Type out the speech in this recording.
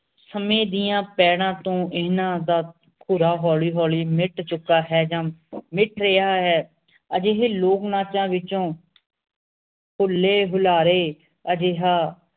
ਸਮੇ ਦੀਆਂ ਤੋਂ ਇਹਨਾਂ ਦਾ ਹੋਲੀ ਹੋਲੀ ਮਿੱਟ ਚੁਕਾ ਹੈ ਜਾਂ ਮਿੱਟ ਰਿਹਾ ਹੈ ਅਜਿਹੇ ਲੋਕ ਨਾਚਾਂ ਵਿਚੋਂ ਹੁੱਲੇ ਹੁਲਾਰੇ ਅਜੇਹਾ